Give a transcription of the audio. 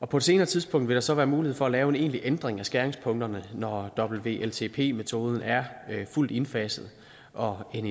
på et senere tidspunkt vil der så være mulighed for at lave en egentlig ændring af skæringspunkterne når wltp metoden er fuldt indfaset og en